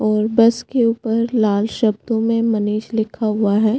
और बस के ऊपर लाल शब्दो मे मनीष लिखा हुआ है।